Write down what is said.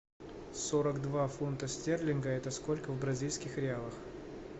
сорок два фунта стерлинга это сколько в бразильских реалах